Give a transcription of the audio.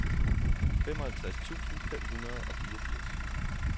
femoghalvtreds tusind fem hundrede og fireogfirs